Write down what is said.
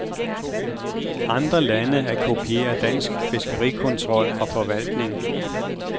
Andre lande at kopiere dansk fiskerikontrol og forvaltning.